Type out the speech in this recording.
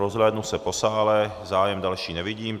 Rozhlédnu se po sále, zájem další nevidím.